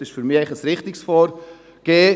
Das ist für mich ein richtiges Vorgehen.